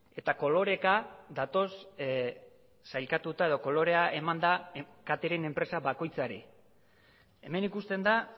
eta koloreka datoz sailkatuta edo kolorea eman da katering enpresa bakoitzari hemen ikusten da